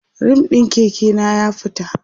rim ɗin Keke na ya fita